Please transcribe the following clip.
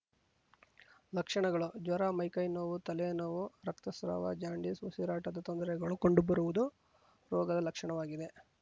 ಲಕ್ಷಣಗಳು ಜ್ವರ ಮೈ ಕೈ ನೋವು ತಲೆ ನೋವು ರಕ್ತಸ್ರಾವ ಜಾಂಡೀಸ್‌ ಉಸಿರಾಟದ ತೊಂದರೆಗಳು ಕಂಡುಬರುವುದು ರೋಗದ ಲಕ್ಷಣವಾಗಿದೆ